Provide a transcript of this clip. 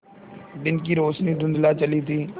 दिन की रोशनी धुँधला चली थी